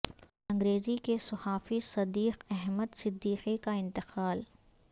انگریزی کے صحافی صدیق احمد صدیقی کا انتقال